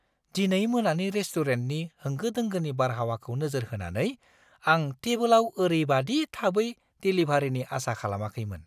दिनै मोनानि रेस्टुरेन्टनि होंगो दोंगोनि बारहावाखौ नोजोर होनानै, आं टेबोलाव ओरैबादि थाबै देलिभारिनि आसा खालामाखैमोन।